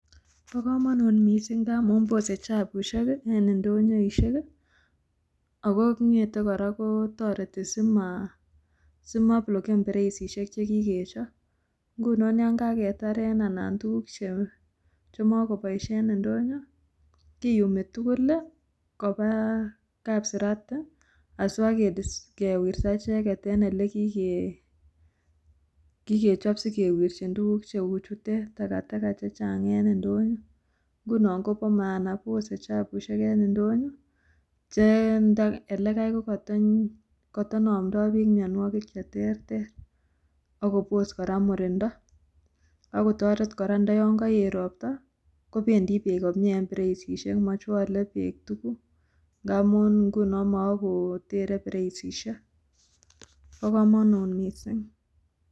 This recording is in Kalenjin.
Bokomonut mising' ngamun bose chafusiek en ndonyoisiek ako ng'ete kora kotoreti simobloken bereisiek chekikechop ngunon yan kaketaren anan tukuk chemokoboisie en ndonyon kiyumi tugul kopaa kapsirati asipaakewirta icheket en elekikechop sikewirchin tukuk cheu chutet, takataka chechang en ndonyon ngunon kopo maana bose chafusiek en ndonyon che elekai kotonomtoo beek mianwokik cheterter akobos kora murindoo akotoret kora ndo yongoet ropta kebendi beek komie en bereisieik mochwole beek tukuk ngamun nguno mookotere bereisieik bokomonut mising'.